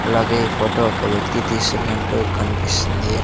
అలాగే ఈ ఫోటో ఒక వ్యక్తి తీస్తున్నట్టు కనిపిస్తుంది.